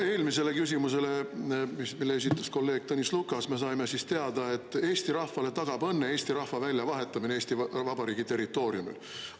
Eelmisele küsimusele, mille esitas kolleeg Tõnis Lukas, me saime siis teada, et eesti rahvale tagab õnne eesti rahva väljavahetamine Eesti Vabariigi territooriumil.